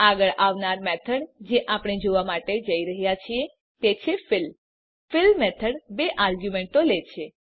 આગળ આવનાર મેથડ જે આપણે જોવા માટે જઈ રહ્યા છીએ તે છે ફિલ ફિલ મેથડ બે આર્ગ્યુમેંટો લે છે